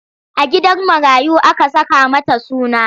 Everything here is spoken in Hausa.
A gidan marayu aka saka mata suna.